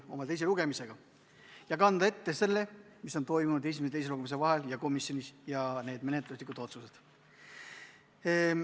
Tegemist on teise lugemisega ning ma kannan ette selle, mis on toimunud esimese ja teise lugemise vahepeal komisjonis, ja menetluslikud otsused.